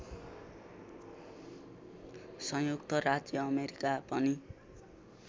संयुक्त राज्य अमेरिका पनि